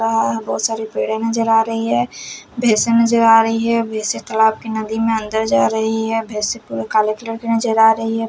यहां बहोत सारी पेड़ें नजर आ रही है भैंसे नजर आ रही है भैंसे तलाब के नदी में अंदर जा रही है भैंसे पूरे काले कलर की नजर आ रही है।